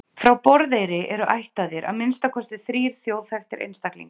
frá borðeyri eru ættaðir að minnsta kosti þrír þjóðþekktir einstaklingar